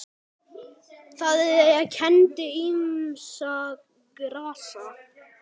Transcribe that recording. Það kenndi ýmissa grasa